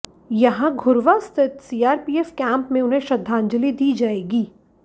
यहां घुर्वा स्थित CRPF camp में उन्हें श्रद्धांजलि दी जाएगी